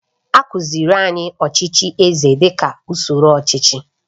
A kụziiri anyị ọchịchị eze dị ka usoro ọchịchị